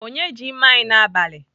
Onye ji mma anyi n'abali?